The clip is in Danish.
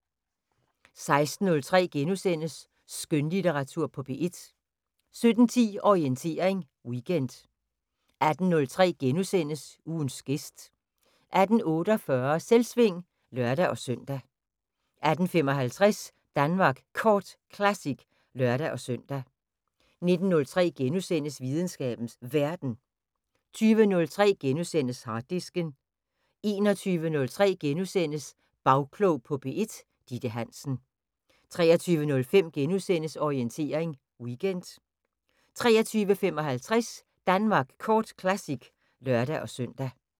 16:03: Skønlitteratur på P1 * 17:10: Orientering Weekend 18:03: Ugens gæst * 18:48: Selvsving (lør-søn) 18:55: Danmark Kort Classic (lør-søn) 19:03: Videnskabens Verden * 20:03: Harddisken * 21:03: Bagklog på P1: Ditte Hansen * 23:05: Orientering Weekend * 23:55: Danmark Kort Classic (lør-søn)